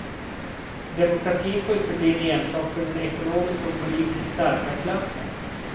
Demokratin får inte bli en ensak för den ekonomiskt och politiskt starka klassen.